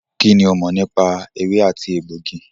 Kínní o mọ̀ nípa ewé àti egbògi?